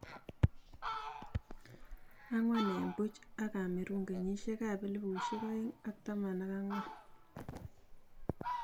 angwan en puch ak cameroon kenyishek ak elifushiek aeng ak taman ak angwan